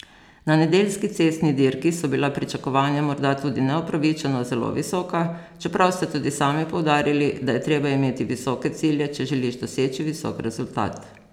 Na nedeljski cestni dirki so bila pričakovanja morda tudi neupravičeno zelo visoka, čeprav ste tudi sami poudarili, da je treba imeti visoke cilje, če želiš doseči visok rezultat.